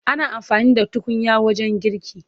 Ana amfani da tukunya wajen girki.